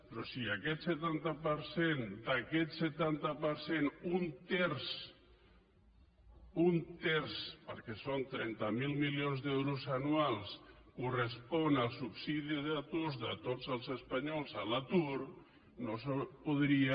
però si aquest setanta per cent d’aquest setanta per cent un terç un terç perquè són trenta miler milions d’euros anuals correspon al subsidi d’atur de tots els espanyols a l’atur no s’hauria